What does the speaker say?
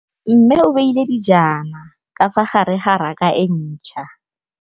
Mmê o beile dijana ka fa gare ga raka e ntšha.